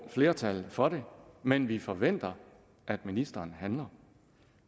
flertal for det men vi forventer at ministeren handler